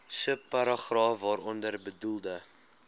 subparagraaf waaronder bedoelde